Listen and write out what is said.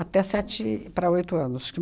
até sete para oito anos. Que